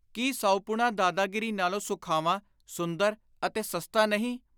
ਕੀ ਸਾਉਪੁਣਾ ਦਾਦਾਗੀਰੀ ਨਾਲੋਂ ਸੁਖਾਵਾਂ, ਸੁੰਦਰ ਅਤੇ ਸਸਤਾ ਨਹੀਂ ?